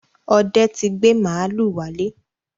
Ọdẹ ti gbé màlúù wálé.